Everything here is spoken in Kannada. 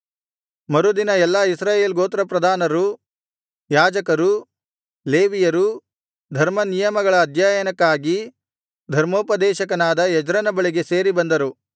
ಮರುದಿನ ಎಲ್ಲಾ ಇಸ್ರಾಯೇಲ್ ಗೋತ್ರಪ್ರಧಾನರೂ ಯಾಜಕರೂ ಲೇವಿಯರೂ ಧರ್ಮನಿಯಮಗಳ ಅಧ್ಯಯನಕ್ಕಾಗಿ ಧರ್ಮೋಪದೇಶಕನಾದ ಎಜ್ರನ ಬಳಿಗೆ ಸೇರಿಬಂದರು